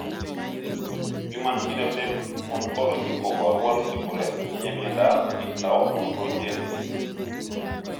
Human Phenotype Ontology koporu wolutik kole itinye Miondap Pyknoachondrogenesis.